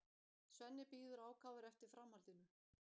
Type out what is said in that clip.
Svenni bíður ákafur eftir framhaldinu.